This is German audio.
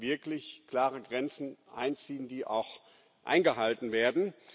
Wir müssen wirklich klare Grenzen ziehen, die auch eingehalten werden.